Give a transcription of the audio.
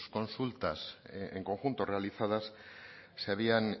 consultas en conjunto realizadas se habían